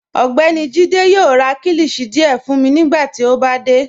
Ọgbẹ́ni Jíde yoo rá kílíshì díẹ̀ fun mi nigbàtí ó bá dé.